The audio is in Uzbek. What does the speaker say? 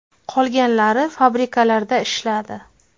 Qolganlari fabrikalarda ishladi.